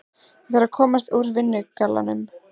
Ég þarf að komast úr vinnugallanum.